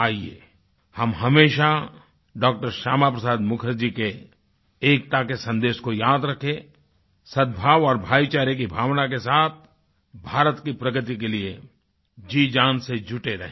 आइये हम हमेशा डॉ० श्यामा प्रसाद मुखर्जी के एकता के सन्देश को याद रखें सद्भाव और भाईचारे की भावना के साथ भारत की प्रगति के लिए जीजान से जुटे रहें